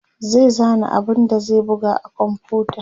zai zana abun da zai buga a komfuta